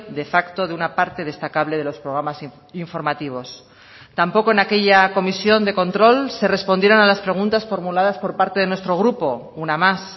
de facto de una parte destacable de los programas informativos tampoco en aquella comisión de control se respondieron a las preguntas formuladas por parte de nuestro grupo una más